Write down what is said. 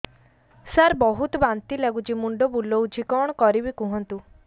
ସାର ବହୁତ ବାନ୍ତି ଲାଗୁଛି ମୁଣ୍ଡ ବୁଲୋଉଛି କଣ କରିବି କୁହନ୍ତୁ